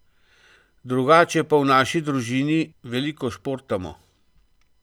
Drugače pa v naši družini veliko športamo.